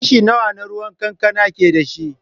Kashi nawa na ruwan kankana ke da shi?